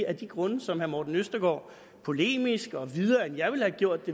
af de grunde som herre morten østergaard polemisk viderefører også videre end jeg ville have gjort